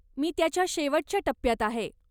मी त्याच्या शेवटच्या टप्प्यात आहे.